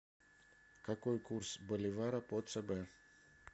какой курс боливара по цб